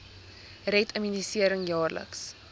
red immunisering jaarliks